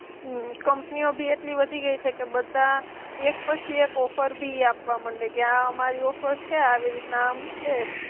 હમ કંપનીઓ ભી એટલી વધી ગઈ છે કે બધા એક પછી એક ઓફર ભી આપવા માંડે, કે આ અમારી ઓફર છે, આ આવી રીતના આમ છે.